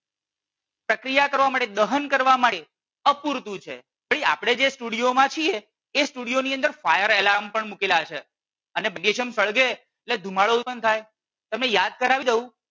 સક્રિય કરવા માટે દહન કરવા માટે અપૂરતું છે. ભાઈ આપણે જે સ્ટુડિયો માં છીએ એ સ્ટુડિયો ની અંદર fire alarm પણ મૂકેલા છે અને મેગ્નેશિયમ સળગે એટલે ધુમાડો ઉત્પન્ન થાય. તમને યાદ કરવી દઉં